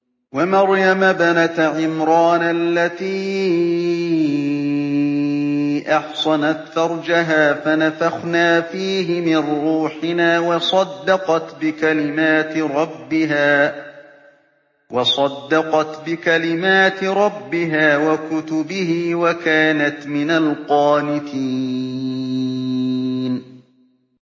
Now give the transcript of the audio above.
وَمَرْيَمَ ابْنَتَ عِمْرَانَ الَّتِي أَحْصَنَتْ فَرْجَهَا فَنَفَخْنَا فِيهِ مِن رُّوحِنَا وَصَدَّقَتْ بِكَلِمَاتِ رَبِّهَا وَكُتُبِهِ وَكَانَتْ مِنَ الْقَانِتِينَ